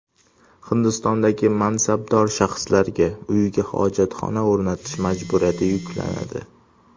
Hindistondagi mansabdor shaxslarga uyiga hojatxona o‘rnatish majburiyati yuklanadi.